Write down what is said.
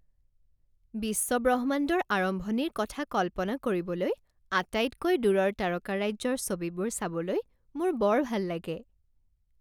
বিশ্ব ব্ৰহ্মাণ্ডৰ আৰম্ভণিৰ কথা কল্পনা কৰিবলৈ আটাইতকৈ দূৰৰ তাৰকাৰাজ্যৰ ছবিবোৰ চাবলৈ মোৰ বৰ ভাল লাগে।